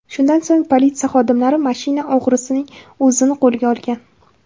Shundan so‘ng politsiya xodimlari mashina o‘g‘risining o‘zini qo‘lga olgan.